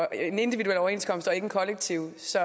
en individuel overenskomst og ikke en kollektiv så